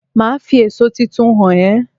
Màá fi èso tuntun hàn é